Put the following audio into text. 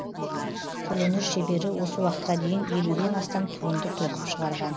қолөнер шебері осы уақытқа дейін елуден астам туынды тоқып шығарған